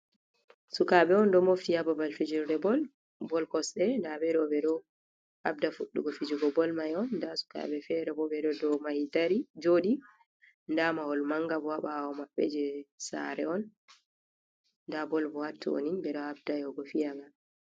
Sukabe on ɗo mofti ha babal fijurde bol, bol kosɗe nɗa ɓeɗo ɓe ɗo habda fuddugo fijugo bol mai on, nɗa sukabe fere bo ɓeɗo do mahi dari, joɗi, nɗa mahol manga bo ha bawo maɓɓe je saare on, nɗa bol bo hatto ni ɓeɗo habda yahugo fiyanga.